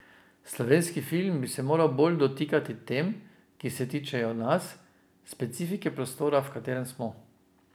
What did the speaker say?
Slovenski film bi se moral bolj dotikati tem, ki se tičejo nas, specifike prostora, v katerem smo ...